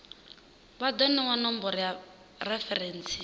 vha do newa nomboro ya referentsi